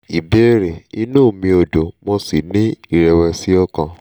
ìbéèrè: inú mi ò dùn mo sì ní ìrẹ̀wẹ̀sì ọkàn